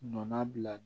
Nɔnana bila